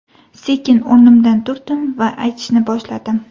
Sekin o‘rnimdan turdim va aytishni boshladim.